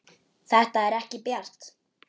Þetta er ekki bjart.